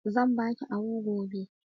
Zan baki ahu gobe.